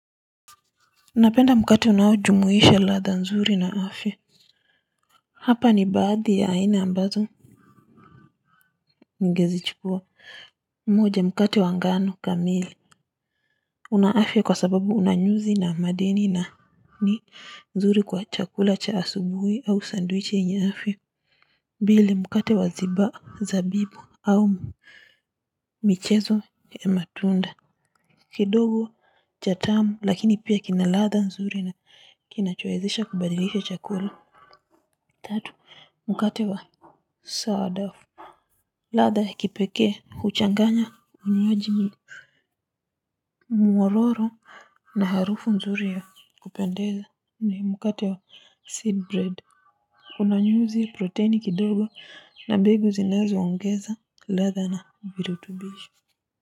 Napenda mkate unaojumuisha ladha nzuri na afya. Hapa ni baadhi ya aina ambazo ningezichukua, moja mkate wa ngano kamili. Una afya kwa sababu una nyuzi na madeni na ni nzuri kwa chakula cha asubuhi au sandwich yenye afya pili, mkate wa zabibu au michezo ya matunda. Kidogo cha tamu lakini pia kina ladha nzuri na kinachoezesha kubadilisha chakula tatu mkate wa sawa wa dafu ladha ya kipekee huchanganya unywaji mwololo na harufu nzuri ya kupendeza ni mkate wa seed bread una nyuzi protini kidogo na mbegu zinazo ongeza ladha na virutubisho.